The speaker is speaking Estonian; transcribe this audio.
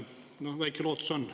No väike lootus on.